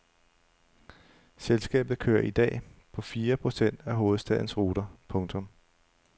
Selskabet kører i dag på fire procent af hovedstadens ruter. punktum